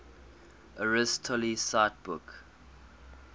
aristotle cite book